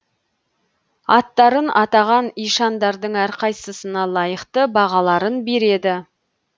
аттарын атаған ишандардың әрқайсысына лайықты бағаларын береді